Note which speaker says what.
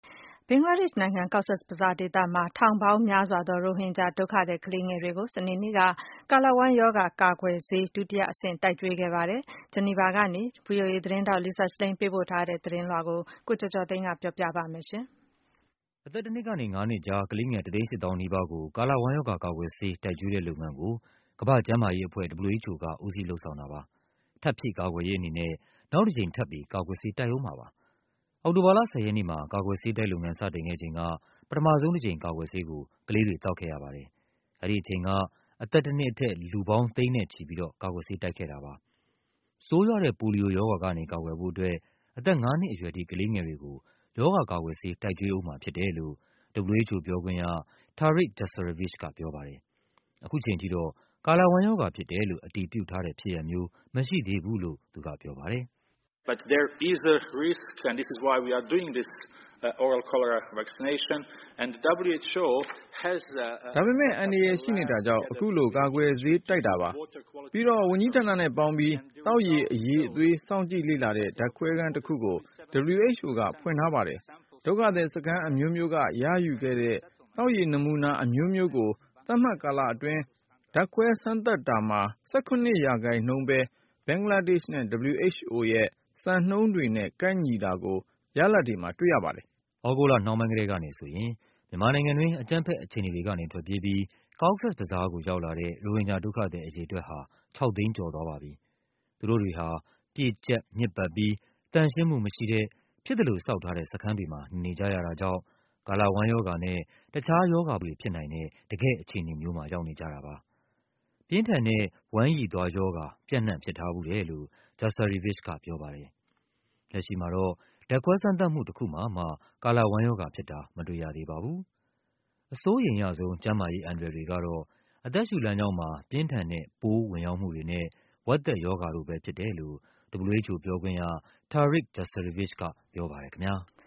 Speaker 1: ဘင်္ဂလားဒေ့ရှ်နိုင်ငံ၊ Cox’s Bazar ဒေသမှာ ထောင်ပေါင်းများစွာသော ရိုဟင်ဂျာ ဒုက္ခသည် ကလေးငယ်တွေကို စနေနေ့က ကာလဝမ်းရောဂါ ကာကွယ်ဆေး ဒုတိယအဆင့် တိုက်ကျွေး ခဲ့ပါတယ်။ ဂျီနီဗာကနေ ဗွီအိုအေသတင်းထောက် Lisa Schlein ပေးပို့ထားတဲ့ သတင်းလွှာကို ကိုကျော်ကျော်သိန်းက ပြောပြပါမယ်
Speaker 2: ။ အသက် ၁ နှစ်ကနေ ၅ နှစ်ကြား ကလေးငယ် ၁၈၀,၀၀၀ နီးပါးကို ကာလဝမ်းရောဂါ ကာကွယ်ဆေး တိုက်ကျွေးတဲ့လုပ်ငန်း ကို ကမ္ဘာ့ကျန်းမာရေးအဖွဲ့ WHO က ဦးစီး လုပ်ဆောင် တာပါ။ ထပ်ဖြည့်ကာကွယ်ရေးအနေနဲ့ နောက်တကြိမ်ထပ်ပြီး ကာကွယ်ဆေး တိုက်ဦးမှာပါ။ အောက်တိုဘာလ ၁၀ ရက်နေ့မှာ ကာကွယ်ဆေးတိုက်လုပ်ငန်း စတင်ခဲ့ချိန်က ပထမဆုံး တကြိမ် ကာကွယ်ဆေးကို ကလေးတွေ သောက်ခဲ့ရပါတယ်။ အဲဒီအချိန်က အသက် တနှစ်အထက် လူပေါင်း ၇၀၀,၀၀၀ ကျော်ကို ကာကွယ်ဆေး တိုက်ခဲ့တာပါ။ ဆိုးရွားတဲ့ ပိုလီယိုရောဂါကနေ ကာကွယ်ဖို့အတွက် အသက်ငါးနှစ်အရွယ်ထိ ကလေး ငယ်တွေကို ရောဂါကာကွယ်ဆေး တိုက်ကျွေးဦးမှာဖြစ်တယ်လို့ WHO ပြောခွင့်ရ Tarik Jasarevic ကပြောပါတယ်။ ခုချိန်ထိတော့ ကာလဝမ်းရောဂါဖြစ်တယ်လို့ အတည်ပြုထားတဲ့ဖြစ်ရပ်မျိုး မရှိသေးဘူးလို့ သူကပြောပါတယ်
Speaker 3: ။ “ဒါပေမ
Speaker 4: ဲ့ အန္တရာယ်ရှိနေတာကြောင့် အခုလို ကာကွယ်ဆေးတိုက်တာပါ။ ပြီးတော့ ဝန်ကြီး ဌာနနဲ့ပေါင်းပြီး သောက်ရေ အရည်အသွေး စောင့်ကြည့်လေ့လာတဲ့ ဓာတ်ခွဲခန်းတခုကို WHO ကဖွင့်ထားပါတယ်။ ဒုက္ခသည်စခန်းအမျိုးမျိုးက ရယူခဲ့တဲ့ သောက်ရေ နမူနာ အမျိုးမျိုးကို သတ်မှတ်ကာလအတွင်း ဓာတ်ခွဲစမ်းသပ်တာမှာ ၁၇% ပဲ ဘင်္ဂလားဒေ့ရှ်နဲ့
Speaker 2: WHO ရဲ့ စံနှုန်းတွေနဲ့ ကိုက်ညီတာကို ရလာဒ်တွေမှာ တွ့ရပါတယ်။” သြဂုတ်လနှောင်းပိုင်းကတည်းကနေဆိုရင် မြန်မာနိုင်ငံက အကြမ်းဖက် အခြေအနေတွေ ကနေ ထွက်ပြေးပြီး Cox’s Bazar ကို ရောက်လာတဲ့ ရိုဟင်ဂျာဒုက္ခသည် အရေအတွက် ဟာ ၆၀၀,၀၀၀ ကျော်သွားပါပြီ။ သူတို့တွေဟာ ပြည့်ကျပ် ညစ်ပတ်ပြီး သန့်ရှင်းမှု မရှိတဲ့ ဖြစ်သလိုဆောက်ထားတဲ့ စခန်းတွေမှာ နေနေကြရတာကြောင့် ကာလဝမ်းရောဂါနဲ့ တခြားရောဂါပိုးတွေဖြစ်နိုင်တဲ့ တကယ့် အခြေအနေမှာ ရောက်နေကြတာပါ။ ပြင်းထန်တဲ့ ဝမ်းရည်သွားရောဂါ ပြန့်နှံ့ ဖြစ်ထားဖူးတယ်လို့ Jasarevic ကပြောပါတယ်။ လက်ရှိမှာတော့ ဓာတ်ခွဲစမ်းသပ်မှု တခု မှာမှ ကာလဝမ်းရောဂါဖြစ်တာ မတွေ့ရသေး ပါဘူး။ အစိုးရိမ်ရဆုံး ကျန်းမာရေးအန္တရာယ်တွေကတော့ အသက်ရှုလမ်းကြောင်းမှာ ပြင်းထန်တဲ့ ပိုးဝင်ရောက်မှုတွေနဲ့ ဝက်သက်ရောဂါတို့ပဲဖြစ်တယ်လို့ WHO ပြောခွင့်ရ Tarik Jasarevic ကပြောပါတယ်ခင်ဗျား။